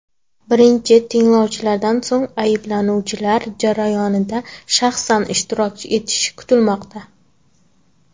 Birinchi tinglovlardan so‘ng ayblanuvchilar jarayonda shaxsan ishtirok etishi kutilmoqda.